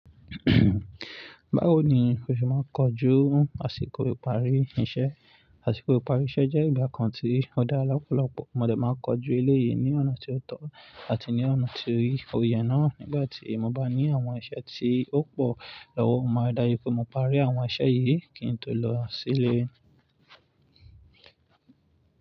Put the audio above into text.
Báwo ni o ṣe máa ń kojú àsìkò ìparí iṣẹ́? Àsìkò ìparí iṣẹ́ jẹ́ ìgbà kan tí ó dá lọ́pọ̀lọpọ̀. Mo lè máa kojú ilé yìí ní ọ̀nà tí ó tọ́ àti ní ọ̀nà tí ò yẹ náà. Nígbà tí mo bá ní àwọn iṣẹ́ tí ó pọ̀ lọ́wọ́, mo máa dá rí pé mo parí àwọn iṣẹ́ yìí kí n tó lọ sí ilé.